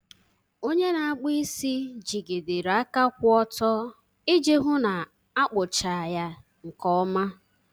onye na-akpụ isi jigidere aka kwụ ọtọ iji hụ na akpụcha ya nke ọma.